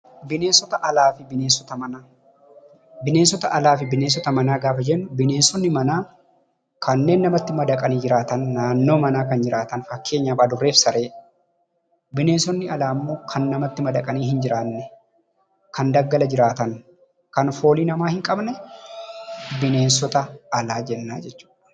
Bineensota alaa fi bineensota manaa. Bineensota alaa fi bineensota manaa gaafa jennu bineensota manaa jechuun kanneen namatti madaqanii jiraatan, naannoo manaa kan jiraatan, fakkeenyaaf Adurree fi Saree. Bineensonni alaa immoo kan namatti madaqanii hin jiraanne, kan daggala jiraatan, kan foolii namaa hin qabnee bineensota alaa jenna.